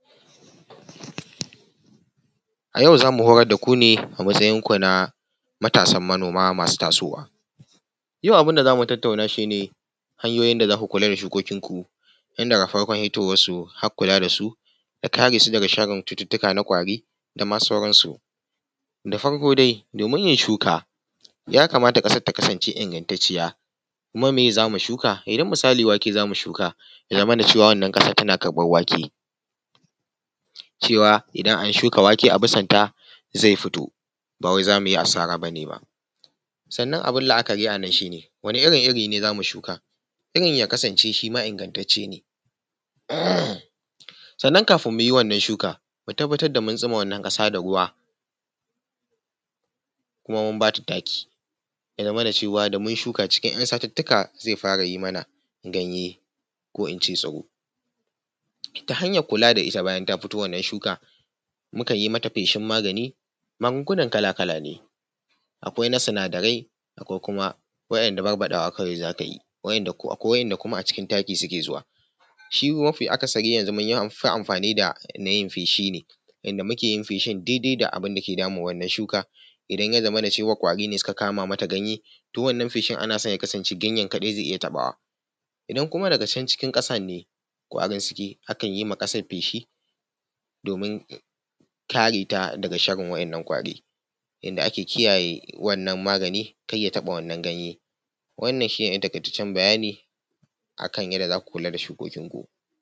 A yau za mu horar da ku ne a matsayin ku na matasan manoma masu tasowa. Yau abin da zamu tattauna shi ne hanyoyin da za ku kula da shukokin ku tun daga farkon hitowar su har kula da su da kare su daga sharrin cututtuka na ƙwari da ma sauran su. Da farko dai domin yin shuka ya kamata ƙasar ta kasance ingantacciya kuma meye za mu shuka, idan misali wake za mu shuka ya zamana cewa wannan ƙasar tana karɓar wake, cewa idan an shuka wake a bisan ta zai fito ba wai za mu yi asara bane ba. Sannan abin la’akari a nan shine wane irin iri ne za mu shuka? irin ya kasance shi ma ingantacce ne, sannan kafin mu yi wannan shukar mu tabbatar da mun tsuma wannan ƙasa da ruwa kuma mun bata taki ya zamana cewa da mun shuka cikin ‘yan satuttuka zai fara yi mana ganye ko in ce tsiro. Ta hanyar kula da ita bayan ta fito wannan shuka, mukan yi mata feshin magani, magungunan kala-kala ne akwai na sinadarai, akwai kuma waɗanda barbaɗawa kawai za ka yi akwai wa’inda kuma acikin taki suke zuwa. Shi mafi akasari yanzu mun fi yin amfani da na yin feshi ne inda muke yin feshin daidai da abin da ke damun wannann shuka idan ya zamana cewa ƙwari ne suka kama mata ganye toh wannan feshin ana so ya kasance ganyen kaɗai zai iya taɓawa, idan kuma daga can cikin ƙasar ne ko a nan suke akan yi ma ƙasar feshi domin kareta daga sharrin waɗannan ƙwari, inda ake kiyaye wannan magani kar ya taɓa wannan ganye. Wannan shi ne ɗan taƙaitaccen bayani akan yadda za ku kula da shukokin ku.